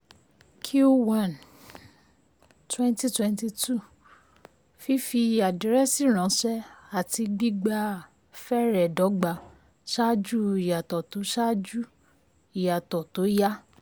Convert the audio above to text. q one um twenty twenty two fífi um àdírẹ́sì ránṣẹ́ àti gbígba fẹrẹ̀ dọ́gba ṣáájú ìyàtọ̀ tó ṣáájú ìyàtọ̀ tó um yá.